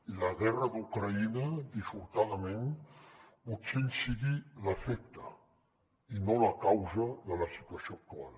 i la guerra d’ucraïna dissortadament pot ser que en sigui l’efecte i no la causa de la situació actual